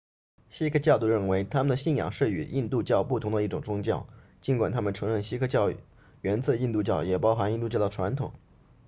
锡克教徒认为他们信仰的是与印度教不同的一种宗教尽管他们承认锡克教源自印度教也包含印度教的传统